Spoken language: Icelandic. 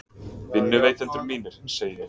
Vinnuveitendur mínir, segi ég.